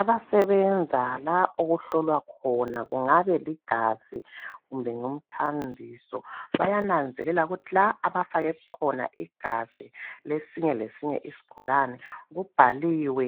Abasebenza la okuhlolwa khona kungaba ligazi kumbe umthambiso bayananzelela ukuthi la abafake khona igazi lesinye lesinye isigulane kubhaliwe